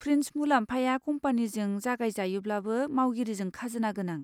Fringe मुलाम्फाया कम्पानीजों जगायजायोब्लाबो मावगिरिजों खाजोना गोनां।